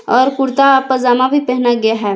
और कुर्ता पजामा भी पहना गया है।